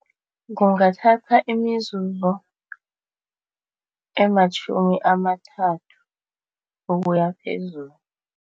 Kungathatha imizuzu ematjhumi amathathu ukuyaphezulu.